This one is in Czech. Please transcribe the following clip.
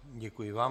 Děkuji vám.